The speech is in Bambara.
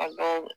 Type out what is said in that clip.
A ka